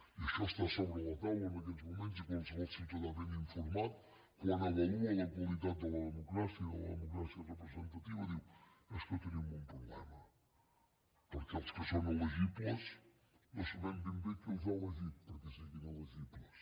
i això està a sobre la taula en aquests moments i qualsevol ciutadà ben informat quan avalua la qualitat de la democràcia i de la democràcia representativa diu és que tenim un problema perquè els que són elegibles no sabem ben bé qui els ha elegit perquè siguin elegibles